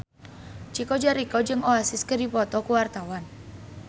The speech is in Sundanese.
Chico Jericho jeung Oasis keur dipoto ku wartawan